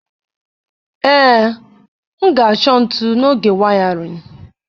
Ee, m ga-achọ ntụ n'oge wiring.